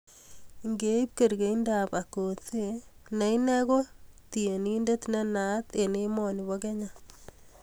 ngeib kerkeindabAkothee ne inen kokiptieninde nenaat eng emoni bo Kenya